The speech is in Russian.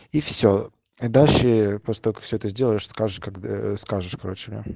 и все и дальше по столько все это сделаешь скажешь когда скажешь короче